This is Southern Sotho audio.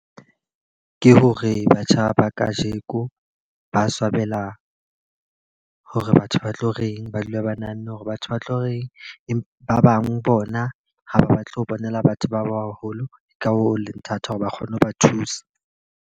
Ke hore batjha ba ka jeko ba swabela hore batho ba tlo reng. Ba dula ba nahanne hore batho ba tlo reng. Ba bang bona ha ba batle ho bonela batho ba baholo, ke ka hoo ho le thata hore ba kgone ho ba thusa.